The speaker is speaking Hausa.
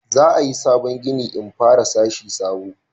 za a yi sabon gini in fara sashi sabo